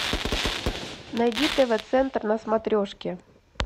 найди тв центр на смотрешке